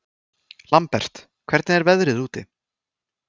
Lambert, hvernig er veðrið úti?